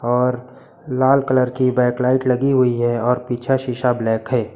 और लाल कलर की बैक लाइट लगी हुई है और पीछा शीशा ब्लैक है।